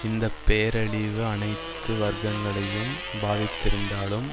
இந்த பேரழிவு அனைத்து வர்க்கங்களையும் பாதித்திருந்தாலும்